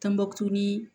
Tɔnbɔkutu